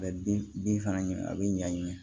A bɛ bin bin fana a bɛ ɲagen